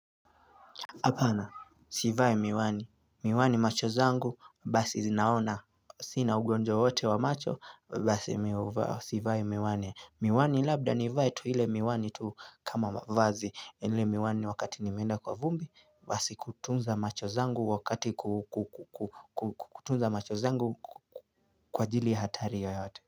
Apana sivai miwani miwani macho zangu basi zinaona sina ugonjwa wowote wa macho basi mii sivai miwani miwani labda nivae tuile miwani tuu kama mavazi ile miwani wakati nimeenda kwa vumbi basi kutunza macho zangu wakati kutunza macho zangu kwa ajili ya hatari yoyote.